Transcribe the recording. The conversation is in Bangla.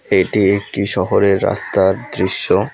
এটি একটি শহরের রাস্তার দৃশ্য।